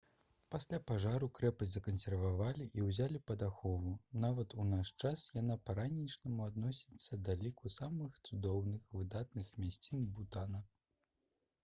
пасля пажару крэпасць закансервавалі і ўзялі пад ахову нават у наш час яна па-ранейшаму адносіцца да ліку самых цудоўных выдатных мясцін бутана